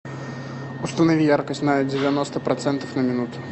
установи яркость на девяносто процентов на минуту